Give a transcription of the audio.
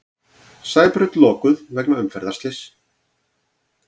Sæbraut lokuð vegna umferðarslyss